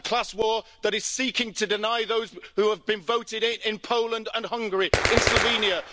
A class war that is seeking to deny those who have been voted in in Poland and Hungary, in Slovenia.